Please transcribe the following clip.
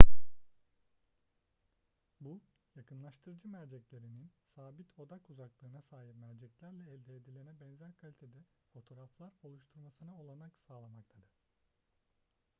bu yakınlaştırıcı merceklerinin sabit odak uzaklığına sahip merceklerle elde edilene benzer kalitede fotoğraflar oluşturmasına olanak sağlamaktadır